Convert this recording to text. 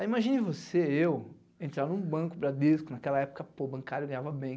Aí imagine você, eu, entrar em um banco Bradesco naquela época, pô, bancário ganhava bem,